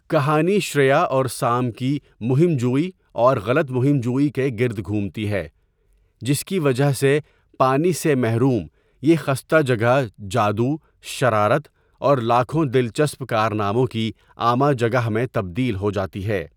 کہانی شریا اور سام کی مہم جوئی اور غلط مہم جوئی کے گرد گھومتی ہے جس کی وجہ سے پانی سے محروم یہ خستہ جگہ جادو، شرارت اور لاکھوں دلچسپ کارناموں کی آماجگاہ میں تبدیل ہو جاتی ہے۔